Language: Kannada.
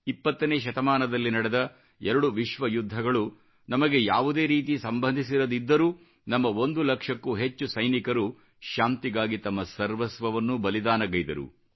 20 ನೇ ಶತಮಾನದಲ್ಲಿ ನಡೆದ 2 ವಿಶ್ವಯುದ್ಧಗಳು ನಮಗೆ ಯಾವುದೇ ರೀತಿ ಸಂಬಂಧಿಸಿರದಿದ್ದರೂ ನಮ್ಮ ಒಂದು ಲಕ್ಷಕ್ಕೂ ಹೆಚ್ಚು ಸೈನಿಕರು ಶಾಂತಿಗಾಗಿ ತಮ್ಮ ಸರ್ವಸ್ವವನ್ನೂ ಬಲಿದಾನಗೈದರು